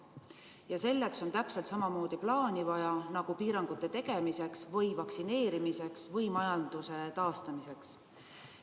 Ja selleks on täpselt samamoodi plaani vaja nagu piirangute tegemiseks, vaktsineerimiseks või majanduse taastamiseks.